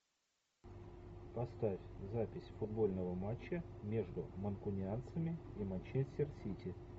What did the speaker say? поставь запись футбольного матча между манкунианцами и манчестер сити